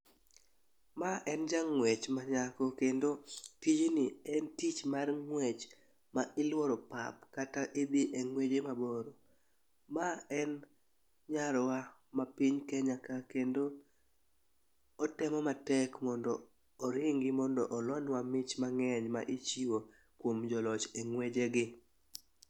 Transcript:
Ma en jang'wech manyako, kendo tijni en tich mar ng'wech ma iluoro pap, kata idhi e ng'weje mabor. Ma en nyarwa ma Kenya ka kendo otemo matek mondo oringi mondo olonwa mich mang'eny ma ichiwo kuom joloch e ng'wejegi.